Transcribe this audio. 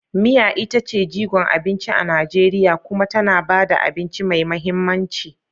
Miya ita ce jigon abinci a Najeriya kuma tana ba da abinci mai mahimmanci.